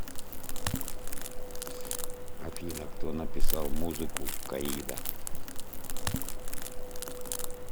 афина кто написал музыку к аида